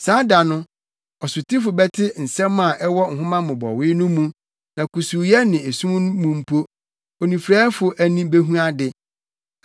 Saa da no, ɔsotifo bɛte nsɛm a ɛwɔ nhoma mmobɔwee no mu na kusuuyɛ ne esum mu mpo onifuraefo ani behu ade.